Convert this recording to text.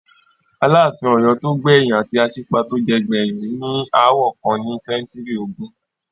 Aláàfin Ọ̀yọ́ tó gbẹ̀yìn àti Aṣípa tó jẹ gbẹ̀yìn ní aáwọ̀ kan ní sẹ́ńtúrì ogún.